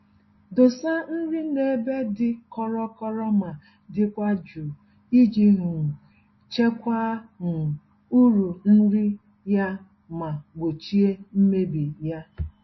Dosa nri n'ebe dị kọrọ-kọrọ ma dịkwa jụụ, iji um chekwaa um uru nri ya ma gbochie mmebi.